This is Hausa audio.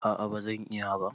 A'a bazan iya ba